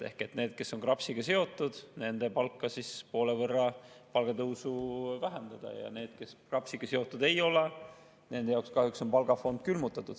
Nendel, kes on KRAPS-iga seotud, väheneb palgatõus poole võrra, ja need, kes KRAPS-iga seotud ei ole, nende jaoks kahjuks on palgafond külmutatud.